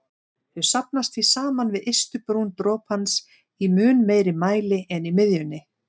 Þau safnast því saman við ystu brún dropans í mun meiri mæli en í miðjunni.